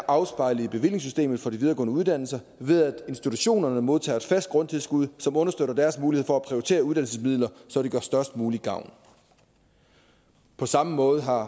afspejlet i bevillingssystemet for de videregående uddannelser ved at institutionerne modtager et fast grundtilskud som understøtter deres mulighed for at prioritere uddannelsesmidler så de gør størst mulig gavn på samme måde har